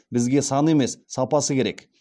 бізге саны емес сапасы керек